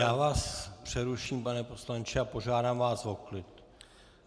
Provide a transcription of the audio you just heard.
Já vás přeruším, pane poslanče, a požádám vás o klid.